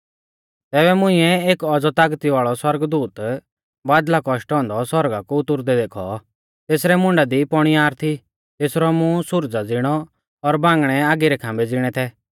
तैबै मुंइऐ एक औज़ौ तागती वाल़ौ सौरगदूत बादल़ा कौशटौ औन्दौ सौरगा कु उतुरदै देखौ तेसरै मुंडा दी पौणीयार थी तेसरौ मूंह सुरजा ज़िणौ और बांगणै आगी रै खाम्बै ज़िणै थै